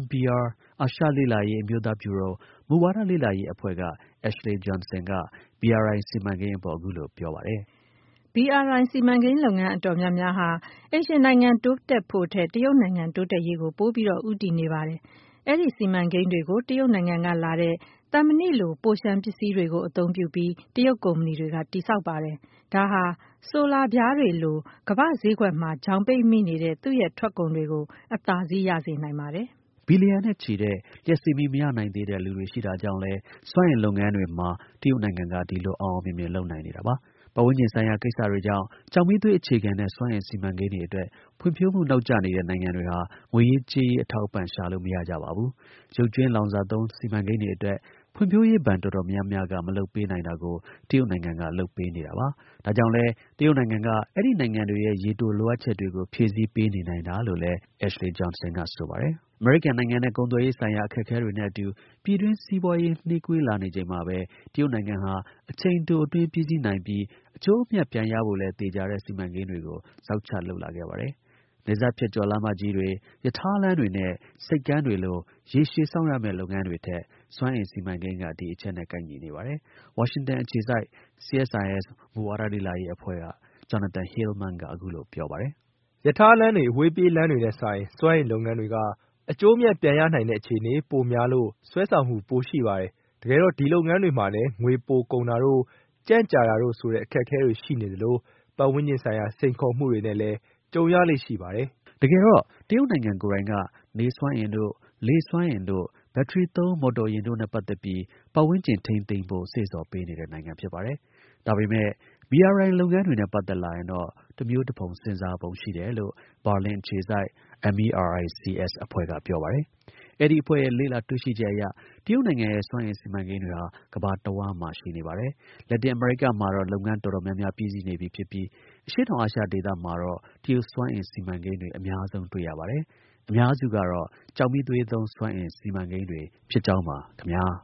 (NBR) အာရှ လေ့လာရေး အမျိုးသား ဗျူရို မူဝါဒလေ့လာရေး အဖွဲ့က Ashley Johnson က BRI စီမံကိန်းအပေါ် အခုလို ပြောပါတယ်။ "BRI စီမံကိန်း လုပ်ငန်း တော်တော်များများဟာ အိမ်ရှင်နိုင်ငံ တိုးတက်ဖို့ထက် တရုတ်နိုင်ငံ တိုးတက်ရေးကို ပိုပြီး ဦးတည် နေပါတယ်။ အဲဒီ စီမံကိန်းတွေကို တရုတ်နိုင်ငံကလာတဲ့ သံမဏိလို့ ပိုလျှံ ပစ္စည်းတွေကို အသုံးပြုပြီး တရုတ် ကုမ္မဏီတွေက တည်ဆောက်ပါတယ်။ ဒါဟာ ဆိုလာပြားတွေလို ကမ္ဘာ့ဈေးကွက်မှာ ချောင်ပိတ်မိနေတဲ့ သူ့ ထွက်ကုန်တွေကို အသာစီး ရစေနိုင်ပါတယ်။" ဘီလီယံနဲ့ချီတဲ့ လျှပ်စစ်မီး မရနိုင်သေးတဲ့ လူတွေရှိနေတာကြောင့်လည်း စွမ်းအင်လုပ်ငန်းတွေမှာ တရုတ်နိုင်ငံက ဒီလို အောင်အောင်မြင်မြင် လုပ်နိုင်တာလပါ။ ပတ်ဝန်းကျင်ဆိုင်ရာ ကိစ္စတွေကြောင့် ကျောက်မီးသွေး အခြေခံတဲ့ စွမ်းအင်စီမံကိန်းတွေအတွက် ဖွံ့ဖြိုးမှု နောက်ကျနေတဲ့ နိုင်ငံတွေဟာ ငွေရေးကြေးရေး အထောက်အပံ့ ရှာလို့ မရကြပါဘူး။ ရုပ်ကြွင်း လောင်စာသုံး စီမံကိန်းတွေအတွက် ဖွံဖြိုးရေး ဘဏ် တော်တော်များများက မလုပ်ပေးနိုင်တာကို တရုတ်နိုင်ငံက လုပ်ပေးနေပါတယ်။။ ဒါကြောင့်လည်း တရုတ်နိုင်ငံက အဲဒီနိုင်ငံတွေရဲ့ ရေတို လိုအပ်ချက်တွေကို ဖြည့်ဆည်းပေးနေနိုင်တာလို့လည်း မစ် Johnson က ဆိုပါတယ်။ အမေရိကန်နိုင်ငံနဲ့ ကုန်သွယ်ရေးဆိုင်ရာ အခက်အခဲတွေနဲ့အတူ ပြည်တွင်း စီးပွားရေး နှေးကွေးလာနေချိန်မှာပဲ တရုတ်နိုင်ငံဟာ အချိန်တို အတွင်းပြီးစီးနိုင်ပြီး အကျိုးအမြတ် ပြန်ရဖို့လည်း သေချာတဲ့ စီမံကိန်းတွေကို ဇောက်ချလုပ်လာခဲ့ပါတယ်။ နယ်စပ်ဖြတ်ကျော် လမ်းမကြီးတွေ ရထားလမ်းတွေနဲ့ ဆိပ်ကမ်းတွေလို ရေရှည် စောင့်ရမယ့်လုပ်ငန်းတွေထက် စွမ်းအင် စီမံကိန်းတွေက ဒီအချက်နဲ့ ကိုက်ညီနေပါတယ်။ CSIS က Jonathan Hillman က အခုလို ပြောပါတယ်။ "ရထားလမ်းတွေ အဝေးပြေးလမ်းတွေနဲ့စာရင် စွမ်းအင်လုပ်ငန်းတွေက အကျိုးအမြတ် ပြန်ရနိုင်တဲ့ အခြေအနေပိုရများလို့ စွဲဆောင်မှု ပိုရှိတယ်။ တကယ်တော့ ဒီလုပ်ငန်းတွေမှာလည်း ငွေ ပိုကုန်တာတို့ ကြန့်ကြာတာတို့ဆိုတဲ့ အခက်အခဲတွေ ရှိနေသလို ပတ်ဝန်းကျင်ဆိုင်ရာ စိန်ခေါ်မှုတွေနဲ့လည်း ကြုံရလေ့ရှိပါတယ်။" တကယ်တော့ တရုတ်နိုင်ငံ ကိုယ်တိုင်က နေစွမ်းအင်တို့ လေစွမ်းအင်တို့ ဘက်ထရီသုံး မော်တော်ယာဉ်တို့နဲ့ ပတ်သက်ပြီး ပတ်ဝန်းကျင် ထိန်းသိမ်းဖို့ စေ့ဆော်ပေး နေတဲ့နိုင်ငံ ဖြစ်ပါတယ်။ ဒါပေမဲ့ BRI လုပ်ငန်းတွေနဲ့ ပတ်သက်လာရင်တော့ တစ်မျိုးတစ်ဖုံ စဉ်းစားပုံ ရှိတယ်လို့ ဘာလင် အခြေစိုက် MERICS အဖွဲ့က ပြောပါတယ်။ အဲဒီအဖွဲ့ရဲ့ လေ့လာတွေ့ရှိချက်အရ တရုတ်နိုင်ငံရဲ့ စွမ်းအင် စီမံကိန်းတွေဟာ ကမ္ဘာတစ်ဝှမ်းမှာ ရှိနေပါတယ်။ လက်တင် အမေရိကမှာတော့ လုပ်ငန်း တော်တော်များများ ပြီးစီး နေပြီ ဖြစ်ပြီး အရှေ့တောင်အာရှဒေသမှာတော့ တရုတ်စွမ်းအင် စီမံကိန်းတွေ အများဆုံး တွေ့ရပါတယ်။ အများစုကတော့ ကျောက်မီးသွေးသုံး စွမ်းအင် စီမံကိန်းတွေဖြစ်ကြောင်းပါ ခင်ဗျား။